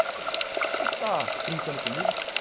O senhor está brincando comigo?